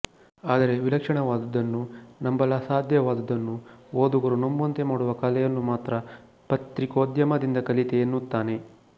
ಆದರೆ ವಿಲಕ್ಷಣವಾದದ್ದನ್ನು ನಂಬಲಸಾಧ್ಯವಾದದ್ದನ್ನು ಓದುಗರು ನಂಬುವಂತೆ ಮಾಡುವ ಕಲೆಯನ್ನು ಮಾತ್ರ ಪತ್ರಿಕೋದ್ಯಮದಿಂದ ಕಲಿತೆ ಎನ್ನುತ್ತಾನೆ